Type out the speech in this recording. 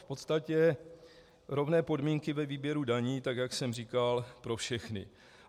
V podstatě rovné podmínky ve výběru daní tak, jak jsem říkal, pro všechny.